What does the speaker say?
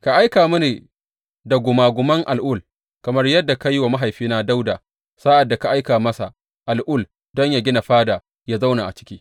Ka aika mini gumaguman al’ul kamar yadda ka yi wa mahaifina Dawuda sa’ad da ka aika masa al’ul don yă gina fada yă zauna a ciki.